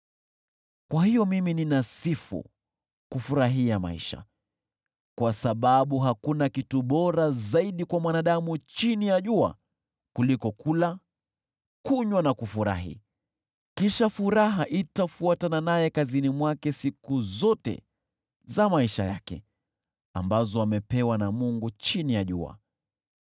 Kwa hiyo mimi ninasifu kufurahia maisha, kwa sababu hakuna kitu bora zaidi kwa mwanadamu chini ya jua kuliko kula, kunywa na kufurahi. Kisha furaha itafuatana naye kazini mwake siku zote za maisha yake ambazo amepewa na Mungu chini ya jua.